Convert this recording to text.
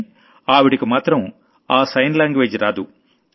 కానీ ఆవిడకు మాత్రం ఆ సైన్ లాంగ్వేజ్ రాదు